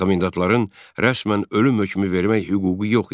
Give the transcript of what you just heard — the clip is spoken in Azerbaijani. Komendantların rəsmən ölüm hökmü vermək hüququ yox idi.